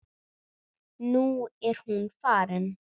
Og nú er hún farin.